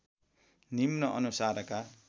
निम्न अनुसारका